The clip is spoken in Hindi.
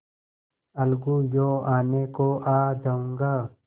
अलगूयों आने को आ जाऊँगा